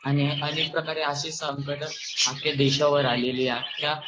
आणि अनेक प्रकारे अशी शंकट आपल्या देशावर आलेली आहे आख्या जगावर आलेली आहे.